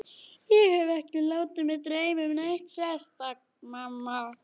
Ég hef ekki látið mig dreyma um neitt sérstakt, mamma.